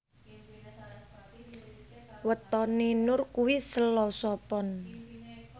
wetone Nur kuwi Selasa Pon